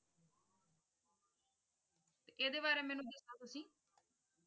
ਇਹਦੇ ਬਾਰੇ ਦੱਸੇਓ ਤੁਸੀ ।